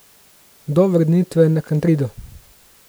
Do vrnitve na Kantrido.